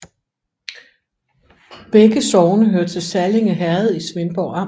Begge sogne hørte til Sallinge Herred i Svendborg Amt